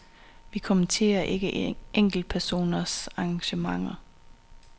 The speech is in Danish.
Vi kommenterer ikke enkeltpersoners engagementer.